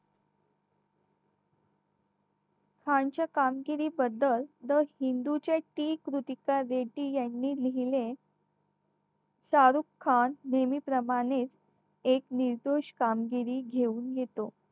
खानच्या कामगिरीबद्दल the हिंदू च्या team कृतिका बेदी यांनी लिहिले शाह रुख खान नेहमीप्रमाणे एक निर्दोष कामगिरी घेऊन घेतो